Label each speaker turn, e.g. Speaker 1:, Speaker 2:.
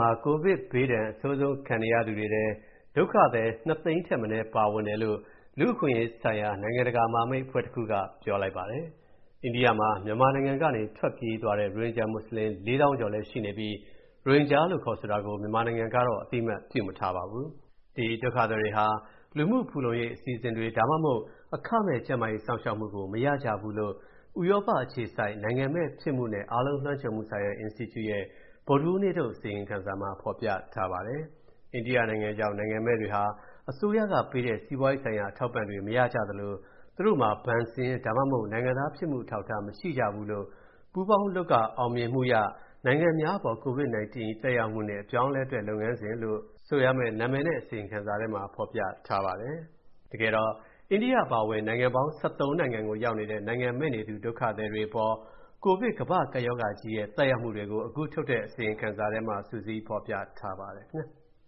Speaker 1: ှာ ကိုဗစ်ဘေးဒဏ် အဆိုးဆုံးခံစားရသူတွေထဲ ဒုက္ခသည် ၂၀၀,၀၀၀ ထက်မနည်းလည်း ပါဝင်တယ်လို့ လူ့အခွင့်အရေးဆိုင်ရာ နိုင်ငံတကာမဟာမိတ်အဖွဲတခုကပြောပါတယ်။ အိန္ဒိယမှာ မြန်မာနိုင်ငံကနေ ထွက်ပြေးသွားတဲ့ ရိုဟင်ဂျာမွတ်ဆလင် ၄၀,၀၀၀ ကျော်ရှိပြီး ရိုဟင်ဂျာလို့ခေါ်ဆိုတာကို မြန်မာနိုင်ငံက အသိအမှတ်ပြုမထားပါဘူး။ ဒုက္ခသည်တွေဟာ လူမှုဖူလုံရေး အစီအစဉ်တွေ ဒါမှမဟုတ် အခမဲ့ ကျန်းမာရေးစောင့်ရှောက်မှုကို မရကြဘူးလို့ ဥရောပအခြေစိုက် နိုင်ငံမဲ့ဖြစ်မှုနှင့် အားလုံးလွှမ်းခြုံမှုဆိုင်ရာအင်စတီကျူရဲ့ ဗုဒ္ဓဟူးနေ့ထုတ် အစီရင်ခံစာမှာ ဖော်ပြထားပါတယ်။ "အိန္ဒိယရောက် နိုင်ငံမဲ့တွေဟာ အစိုးရကပေးတဲ့ စီးပွားရေးဆိုင်ရာ အထောက်အပံ့တွေ မရကြသလို သူတို့မှာ ဘဏ်စာရင်း ဒါမှမဟုတ် နိုင်ငံသားဖြစ်မှုအထောက်အထား မရှိကြဘူး" လို့ "ပူးပေါင်းလုပ်က အောင်မြင်မှုရ - နိုင်ငံမဲ့များအပေါ် COVID-19 ၏ သက်ရောက်မှုနှင့် အပြောင်းအလဲအတွက် လုပ်ငန်းလမ်းစဉ်" လို့ ဆိုရမယ့်နာမည်နဲ့ အစီရင်ခံစာထဲမှာ ဖော်ပြထားပါတယ်။ အိန္ဒိယအပါအဝင် နိုင်ငံပေါင်း ၁၃ နိုင်ငံကိုရောက်နေတဲ့ နိုင်ငံမဲ့နေသူ ဒုက္ခသည်တွေအပေါ် ကိုဗစ်ကမ္ဘာ့ကပ်ရောဂါကြီးရဲ့ သက်ရောက်မူတွေကို အခုထုတ်တဲ့ အစီရင်ခံစာထဲမှာ စုစည်းဖေ
Speaker 2: ာ်ပြထားပါတယ်။